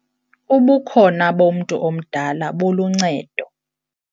Ubukhona bomntu omdala buluncedo.